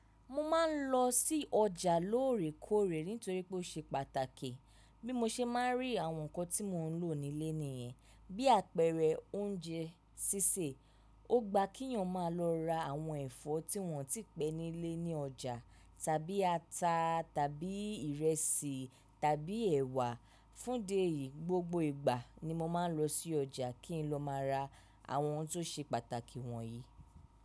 Mo máa ń lọ sí ọjà lóòrèkóòrè nítorí pé ó ṣe pàtàkì. Bí mo ṣe máa ń rí àwọn nǹkan tí mo ń lò nílé nìyẹn. Bí àpẹẹrẹ oúnjẹ sísè. Ó gba kíyàn máa lọ ra àwọn ẹ̀fọ́ tí wọ́n ò tíì pẹ́ nílé ní ọjà tàbí ata tàbí ìrẹsì tàbí ẹ̀wà. Fúndìí èyí, gbogbo ìgbà ni mo máa ń lọ sí ọjà kí n lọ máa ra àwọn ohun tó ṣe pàtàkì wọ̀nyí.